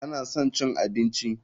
Tana son cin abinci.